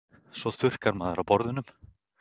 Svo þurrkar maður af borðunum.